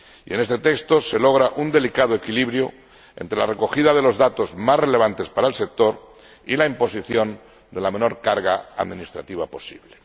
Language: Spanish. en este texto se logra un delicado equilibrio entre la recogida de los datos más relevantes para el sector y la imposición de la menor carga administrativa posible.